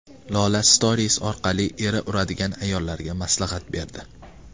Lola Stories orqali eri uradigan ayollarga maslahat berdi.